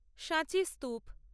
সাঁচি স্তূপ